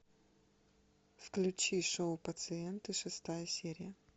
включи шоу пациенты шестая серия